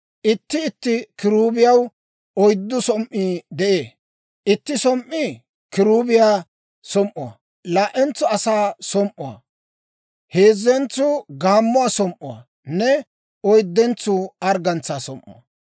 Itti itti kiruubiyaw oyddu som"ii de'ee. Itti som"ii kiruubiyaa som"uwaa, laa"entsuu asaa som"uwaa, heezzentsuu gaammuwaa som"uwaanne, oyddentsuu arggantsaa som"uwaa.